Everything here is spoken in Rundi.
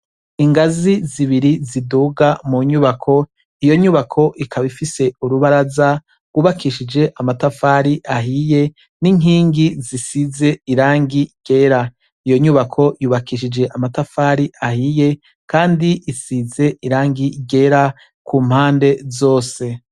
Ingazi zibiri ziduga munyubako, iyo nyubako ikaba ifise urubaraza rw’ubakishije amatafari ahiye n’inkingi zisize irangi ryera. Iyo nyubako yubakishije amatafari ahiye Kandi isize irangi ryera kumpande zose.